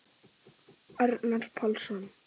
Arnar Pálsson.